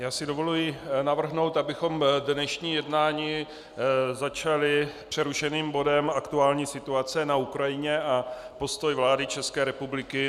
Já si dovolím navrhnout, abychom dnešní jednání začali přerušeným bodem Aktuální situace na Ukrajině a postoj vlády České republiky.